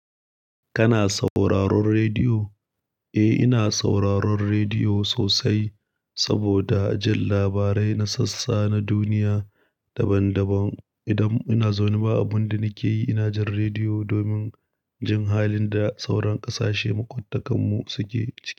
Kana sauraron rediyo? Eh, ina sauraron rediyo sosai saboda jin labarai na sassa na duniya daban-daban. Idan ina zaune ba abun da nake yi, ina jin rediyo domin jin halin da sauran ƙasashe makwabtakanmu suke ciki.